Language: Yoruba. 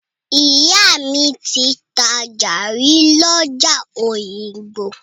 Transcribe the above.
Ìyá mi ti tajà rí lọ́jà Òyìngbò.